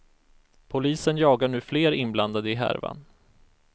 Polisen jagar nu fler inblandade i härvan.